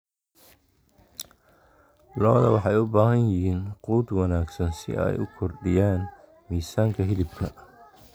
Lo'da lo'da waxay u baahan yihiin quud wanaagsan si ay u kordhiyaan miisaanka hilibka.